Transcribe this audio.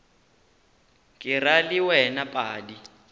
ke ra le wena padi